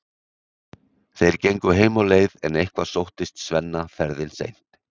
Þeir gengu heim á leið en eitthvað sóttist Svenna ferðin seint.